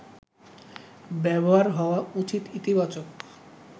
ব্যবহার হওয়া উচিত ইতিবাচক